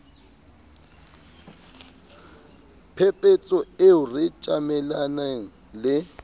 phephetso eo re tjamelaneng le